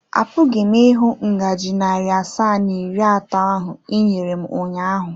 Apụghị m ịhụ ngaji narị asaa na iri atọ ahụ i nyere m ụnyaahụ.